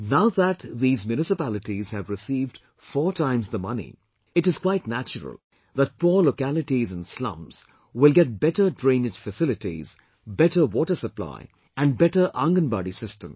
Now that these municipalities have received 4 times the money, it is quite natural that poor localities and slums will get better drainage facilities, better water supply and better Aanganbari system